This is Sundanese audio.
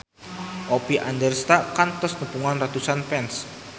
Oppie Andaresta kantos nepungan ratusan fans